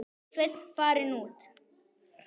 Sveinn farinn út?